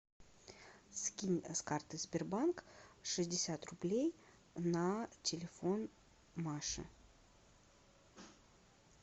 скинь с карты сбербанк шестьдесят рублей на телефон маши